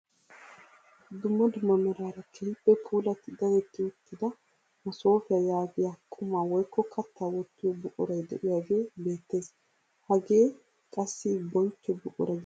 Dumma dumma meraara keehippe puulatti dadetti uttida masoofiyaa yaagiyaa qumaa woykko kattaa wottiyoo buquray de'iyaagee beettees. hagee qassi bonchcho buquraa getetti xeegettees.